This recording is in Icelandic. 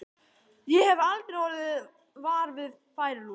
Ég hef aldrei orðið var við færilús.